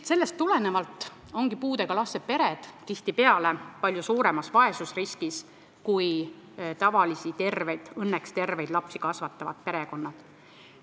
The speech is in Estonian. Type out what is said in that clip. Sellest tulenevalt ongi puudega laste pered tihtipeale palju suuremas vaesusriskis kui tavalisi, õnneks terveid lapsi kasvatavad perekonnad.